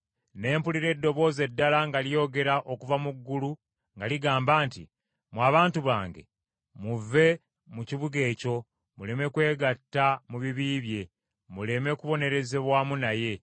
Ne mpulira eddoboozi eddala nga lyogera okuva mu ggulu nga ligamba nti, “ ‘Mmwe abantu bange muve mu kibuga ekyo’ muleme kwegatta mu bibi bye, muleme kubonerezebwa wamu naye.